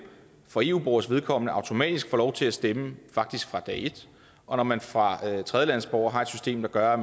for eu borgeres vedkommende automatisk får lov til at stemme faktisk fra dag et og når man for tredjelandesborgere har et system der gør at